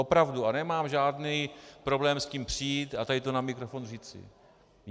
Opravdu a nemám žádný problém s tím přijít a tady to na mikrofon říci.